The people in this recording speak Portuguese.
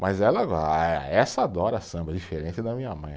Mas ela vai, ah essa adora samba, diferente da minha mãe.